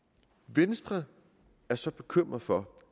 venstre er så bekymret for